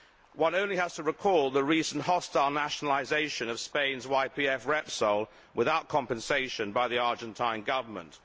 One only has to recall the recent hostile nationalisation of Spain's YPF Repsol, without compensation, by the Argentine Government.